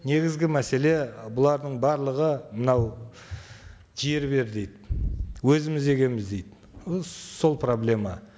негізгі мәселе бұлардың барлығы мынау жер бер дейді өзіміз егеміз дейді і сол проблема